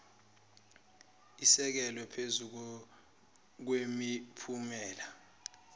esekelwe phezu kwemiphumela